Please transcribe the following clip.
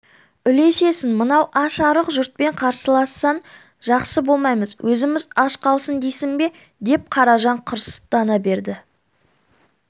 үлесесің мынау аш-арық жұртпен қарсылассаң жақсы болмаймыз өзіміз аш қалсын дейсің бе деп қаражан қырыстана берді